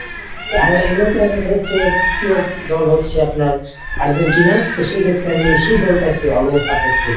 হচ্ছে প্রিয় দল হচ্ছে আপনার আর্জেন্টিনা। তো সেই ক্ষেত্রে আমি সেই দলটাকে always support করি।